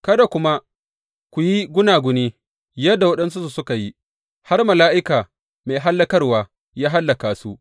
Kada kuma ku yi gunaguni yadda waɗansunsu suka yi, har mala’ika mai hallakarwa ya hallaka su.